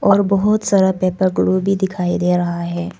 और बहुत paper glue भी दिखाई दे रहा हैं।